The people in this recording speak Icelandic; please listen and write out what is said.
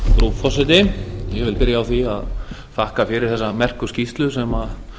frú forseti ég vil byrja því að þakka fyrir þessa merku skýrslu sem